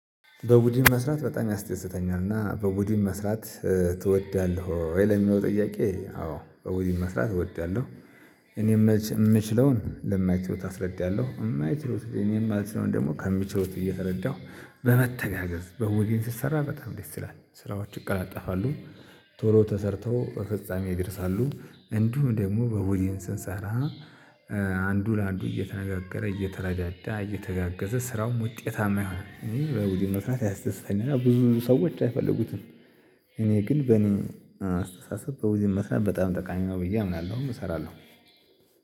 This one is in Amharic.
በቡድን መስራት በጣም ያስተያዘኛል እና በቡድን መስራት ትወዳለህ ወይ? ለሚለው ጥያቄ አዎ በቡድን መስራት እወዳለሁ። እኔ ምየምችለውን ለማይችሉት አስረዳለሁ የማይችሉት እኔ የማልችለውን ደግሞ ከሚችሉት እየተረዳሁ። በመተጋገዝ በቡድን ስሰራ በጣም ደስ ይላል ስራዎች ይቃለጠፋሉ። ቶሎ ተሰርተው ለፍጻሜ ይደርሳሉ እንዲሁም ደግሞ በቡድን ስንሰራ። አንዱ ለአንዱ እየተነጋገረ እየተረዳዳ እየተጋገዘ ስራውም ውጤታማ ይሆናል። በቡድን መስራት ያስደስተኛል ብዙ ሰዎች አይፈልጉትም። እኔ ግን በኔ አስተሳሰብ በቡድን መስራት በጣም ጠቃሚ ነው ብዬ አምናለሁ እሰራለሁ